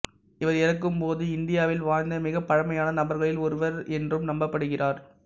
இவர் இறக்கும் போது இந்தியாவில் வாழ்ந்த மிகப் பழமையான நபர்களில் ஒருவர் என்றும் நம்பப்படுகிறார்